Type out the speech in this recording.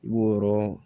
I b'o yɔrɔ